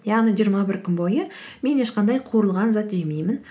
яғни жиырма бір күн бойы мен ешқандай қуырылған зат жемеймін